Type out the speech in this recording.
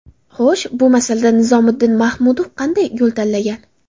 Xo‘sh, bu masalada Nizomiddin Mahmudov qanday yo‘l tanlagan?